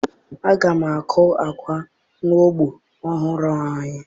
Aga m akụ agwa n'ugbo ọhụrụ anyị.